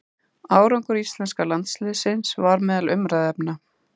Árangur íslenska landsliðsins var meðal umræðuefna.